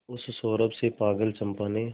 उस सौरभ से पागल चंपा ने